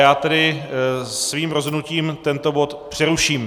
Já tedy svým rozhodnutím tento bod přeruším.